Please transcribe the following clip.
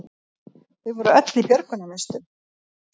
Þau voru öll í björgunarvestum